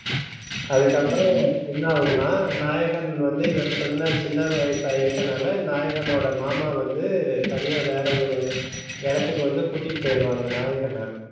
அதுக்கப்புறம் என்ன ஆகும்னா நாயகன் வந்து இவர் சொன்ன சின்ன வயச இருக்கனால நாயகன் ஓட மாமா வந்து தனியா வேற ஒ. ரு இடத்துக்கு வந்து கூட்டிட்டு போயிருவாங்க நாயகனா